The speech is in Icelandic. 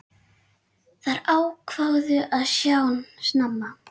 Þær ákváðu að sjóða snemma.